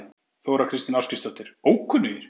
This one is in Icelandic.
Þóra Kristín Ásgeirsdóttir: Ókunnugir?